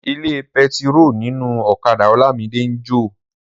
Ilé pẹtiró ninu ọ̀kadà Olamide n jo.